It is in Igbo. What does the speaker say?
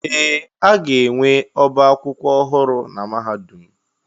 Ee! A ga-enwe ọbá akwụkwọ ọhụrụ na mahadum.